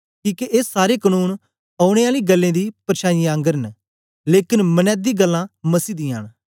किके ए सारे कनून औने आली गल्लें दी परछाओं जेई ऐ लेकन मनैदी गल्लां मसीह दियां न